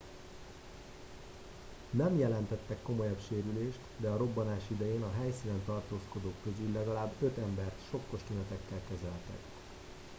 nem jelentettek komolyabb sérülést de a robbanás idején a helyszínen tartózkodók közül legalább öt embert sokkos tünetekkel kezeltek